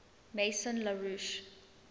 maison la roche